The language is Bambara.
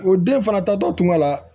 O den fana tatɔ tun ka la